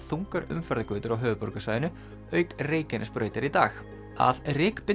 þungar umferðargötur á höfuðborgarsvæðinu auk Reykjanesbrautar í dag að